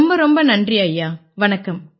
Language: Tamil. ரொம்ப ரொம்ப நன்றி ஐயா வணக்கம்